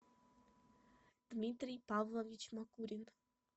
дмитрий павлович макурин